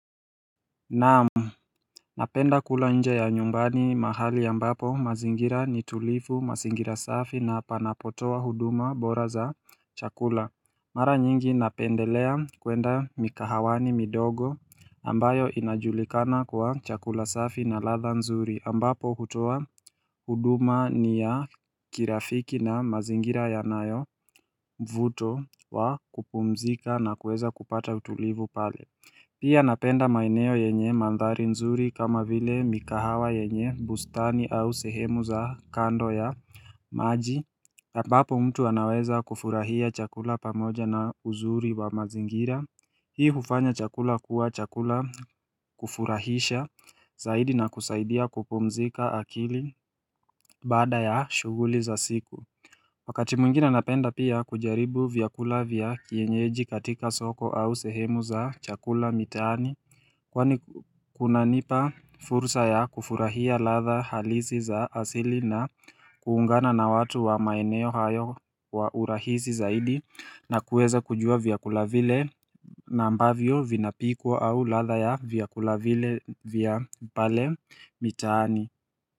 Naamu Napenda kula nje ya nyumbani mahali ambapo mazingira ni tulivu, mazingira safi na panapotoa huduma bora za chakula Mara nyingi napendelea kuenda mikahawani midogo ambayo inajulikana kwa chakula safi na ladha nzuri ambapo hutoa huduma ni ya kirafiki na mazingira yanayo vuto wa kupumzika na kueza kupata utulifu pale Pia napenda maeneo yenye mandhari nzuri kama vile mikahawa yenye bustani au sehemu za kando ya maji ambapo mtu anaweza kufurahia chakula pamoja na uzuri wa mazingira Hii hufanya chakula kuwa chakula kufurahisha zaidi na kusaidia kupumzika akili baada ya shughuli za siku Wakati mwingine napenda pia kujaribu vyakula vya kienyeji katika soko au sehemu za chakula mitaani Kwani kunanipa fursa ya kufurahia ladha halisi za asili na kuungana na watu wa maeneo hayo wa urahisi zaidi na kueza kujua vyakula vile na ambavyo vinapikwa au ladha ya vyakula vile vya pale mitaani.